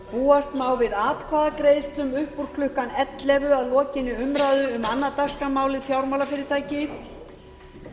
búast má við atkvæðagreiðslum upp úr klukkan ellefu að lokinni umræðu um annað dagskrármálið fjármálafyrirtæki í